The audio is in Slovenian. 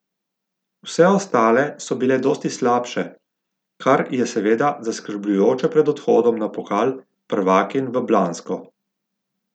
Vse ostale so bile dosti slabše, kar je seveda zaskrbljujoče pred odhodom na pokal prvakinj v Blansko.